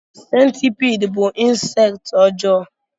Sentipiid bú insekti ọjọọ.